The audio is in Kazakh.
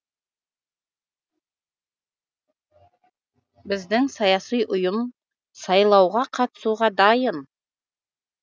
біздің саяси ұйым сайлауға қатысуға дайын